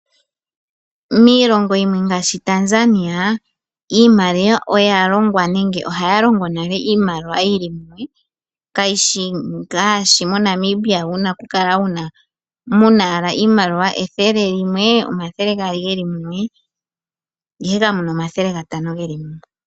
Miilongo yimwe ngaashi Tanzania iimaliwa oya longwa nenge ohaya longo iimaliwa yi li mumwe kashi shi ngaashi moNamibia mu na owala iimaliwa ngaashi ethele limwe, omathele gaali ge li mumwe, ihe kamu na omathele gatano ge li mumwe.